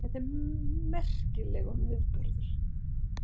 Þetta er merkilegum viðburður